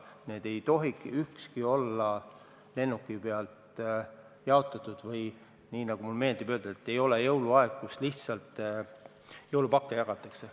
Need ei tohi olla lennuki pealt alla puistatud või nagu mulle meeldib öelda: ei ole jõuluaeg, kus lihtsalt jõulupakke jagatakse.